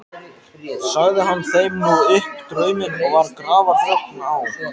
Sagði hann þeim nú upp drauminn og var grafarþögn á.